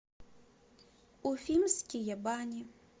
уфимские бани